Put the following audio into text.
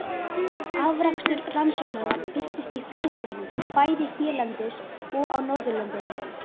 Afrakstur rannsóknanna birtist í fræðigreinum bæði hérlendis og á Norðurlöndunum.